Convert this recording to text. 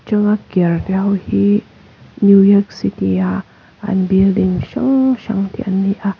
atanga hi new yourk city a an building hrang hrang te an ni a.